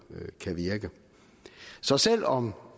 kan virke så selv om